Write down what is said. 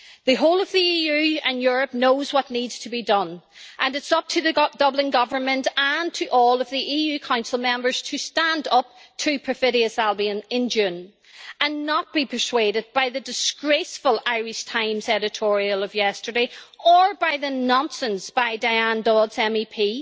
The whole of the EU and Europe knows what needs to be done, and it is up to the Dublin government and to all of the EU Council Member to stand up to perfidious Albion in June and not to be persuaded by the disgraceful Irish Times editorial of yesterday, or by the nonsense by Diane Dodds MEP.